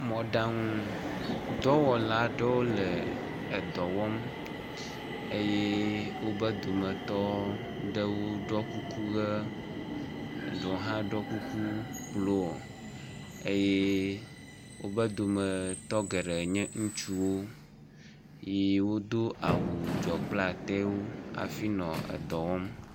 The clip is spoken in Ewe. Mɔɖaŋudɔwɔla aɖewo le edɔ wɔm eye wobe dometɔ ɖewo ɖɔ kuku ʋe, eɖewo hã ɖɔ kuku blɔ eye wobe dometɔ geɖe nye ŋutsuwo yi wodo awu dzɔ kple atawo.